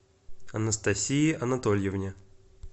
анастасии анатольевне